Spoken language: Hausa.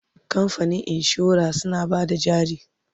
kamfanin insura suna Bada jari